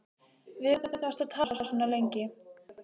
Við hvern varstu að tala svona lengi?